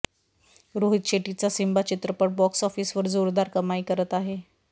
रोहित शेट्टीचा सिम्बा चित्रपट बॉक्स ऑफिसवर जोरदार कमाई करत आहे